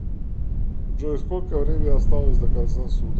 джой сколько времени осталось до конца суток